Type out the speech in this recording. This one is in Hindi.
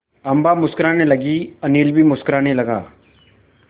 अम्मा मुस्कराने लगीं अनिल भी मुस्कराने लगा